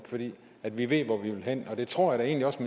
fordi vi ved hvor vi vil hen og det tror jeg egentlig også